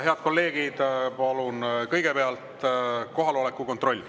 Head kolleegid, palun teeme kõigepealt kohaloleku kontrolli.